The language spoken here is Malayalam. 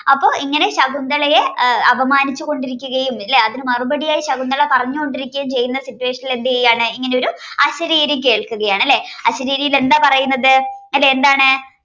അപ്പൊ ഇങ്ങനെ ശകുന്തളയെ അപമാനിച്ചുകൊണ്ടിരിക്കുകയും ലെ അതിന് മറുപടി യായി ശകുന്തള പറഞ്ഞുകൊണ്ടിരിക്കുകയും ചെയ്യുന്ന situation ൽ എന്താണ് ഇങ്ങനെയൊരുഅശരീരി കേൾക്കുകയാണ് അല്ലെ അശരീരിയിൽ എന്താ പറയുന്നത് അതെ എന്താണ്